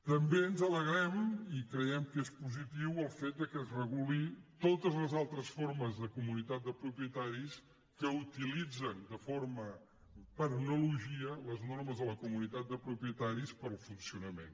també ens alegrem i creiem que és positiu el fet que es regulin totes les altres formes de comunitat de propietaris que utilitzen per analogia les normes de la comunitat de propietaris per al funcionament